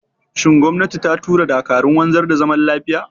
Shin gwamnati ta tura dakarun wanzar da zaman lafiya?